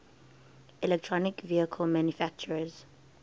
electric vehicle manufacturers